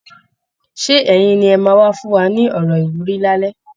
Ṣé ẹ̀yin ni ẹ máa wá fún wa ní ọ̀rọ̀ ìwúrí lálẹ́?